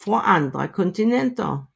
fra andre kontinenter